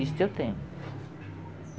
Isso eu tenho.